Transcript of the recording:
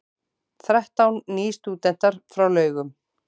Þrettán nýstúdentar frá Laugum